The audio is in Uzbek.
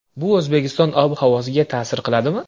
Bu O‘zbekiston ob-havosiga ta’sir qiladimi?